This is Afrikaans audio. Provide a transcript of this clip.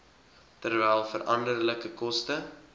terwyl veranderlike koste